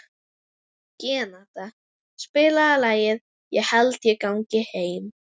Renata, spilaðu lagið „Ég held ég gangi heim“.